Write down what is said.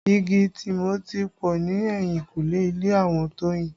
Igi Tìmọ́ ti pọ ni eyinkule ilé àwọn Toyin